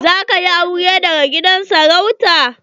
Za ka yi aure daga gidan sarauta?